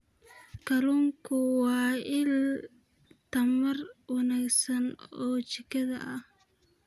Kalluunku waa il tamar wanaagsan oo jidhka ah.